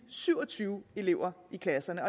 syv og tyve elever i klasserne